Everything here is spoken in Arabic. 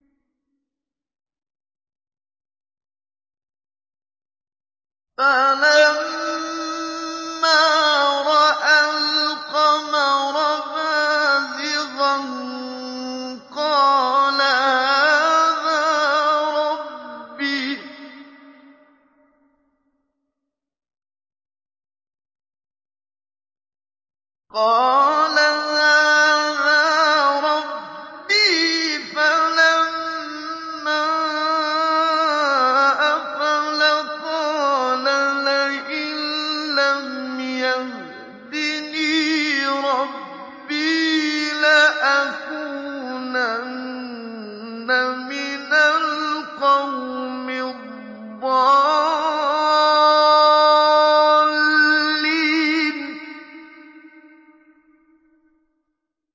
فَلَمَّا رَأَى الْقَمَرَ بَازِغًا قَالَ هَٰذَا رَبِّي ۖ فَلَمَّا أَفَلَ قَالَ لَئِن لَّمْ يَهْدِنِي رَبِّي لَأَكُونَنَّ مِنَ الْقَوْمِ الضَّالِّينَ